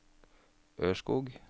Ørskog